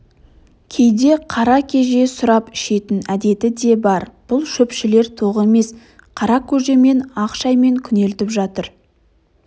кейде қара кеже сұрап ішетін әдеті де бар бұл шөпшілер тоқ емес қара көжемен ақ шаймен күнелтіп жатыр